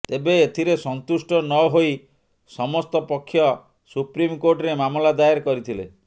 ତେବେ ଏଥିରେ ସନ୍ତୁଷ୍ଟ ନ ହୋଇ ସମସ୍ତ ପକ୍ଷ ସୁପ୍ରୀମ କୋର୍ଟରେ ମାମଲା ଦାୟର କରିଥିଲେ